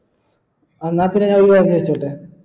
എന്ന പിന്ന ഞാൻ ഒരു കാര്യം ചോയ്‌ച്ചോട്ടെ